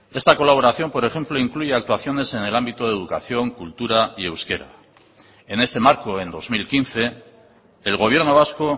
esta colaboración por ejemplo incluye actuaciones en el ámbito de educación cultura y euskera en este marco en dos mil quince el gobierno vasco